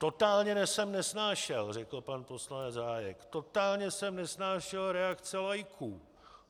Totálně jsem nesnášel, řekl pan poslanec Hájek, totálně jsem nesnášel reakce laiků.